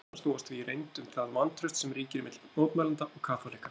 Deilurnar snúast því í reynd um það vantraust sem ríkir milli mótmælenda og kaþólikka.